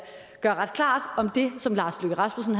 det ret klart om det som lars løkke rasmussen